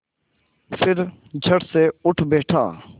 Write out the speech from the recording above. फिर झटसे उठ बैठा